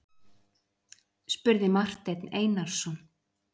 spurði Marteinn Einarsson.